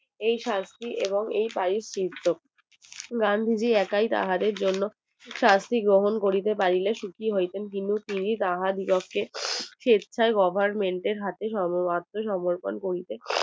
এই শাস্তি এবং এই পাই চিত্র গান্ধী জি একই তাহাদের জন্য শাস্তি গ্রহণ করিতে পারিলে সুখী হইতেন কিন্তু তিনি তাহার পক্ষে স্বেচ্ছায় Government এর হাতে আত্ম্যসমর্পন করিতে